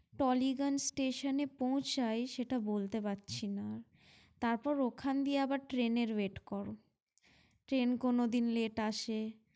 Tollygunge station এ পৌঁছাই সেটা বলতে পারছিনা তারপর ওখান দিয়ে আবার train এর wait করো train কোনোদিন late আসে।